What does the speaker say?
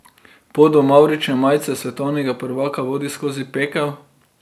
Pot do mavrične majice svetovnega prvaka vodi skozi Pekel.